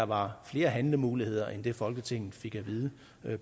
var flere handlemuligheder end det folketinget fik at vide